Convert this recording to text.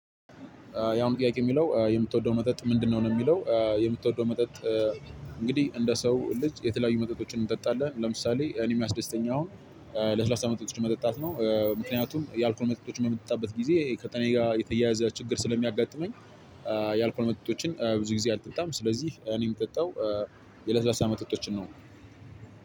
ያም ጥያቄ የሚለው የምትወደው መጠጥ ምንድነው ነው የሚለው የምትወደው መጠጥ እንግዲህ እንደ ሰው ልጅ የተለያዩ መጠጦችን እንጠጣለን። ለምሳሌ እኔ የሚያስደስተኝ አሁን ለስላሳ መጠጦች መጠጣት ነው። ምክንያቱም ያልኩህ መጠጦች በምጠጣበት ጊዜ ከጤናዬ ጋር የተያያዘ ችግር ስለሚያጋጥመኝ ያልከኝ መጠጦችን ብዙ ጊዜ አልጠጣም። ስለዚህ እኔ የምጠጣው የለስላሳ መጠጦችን ነው።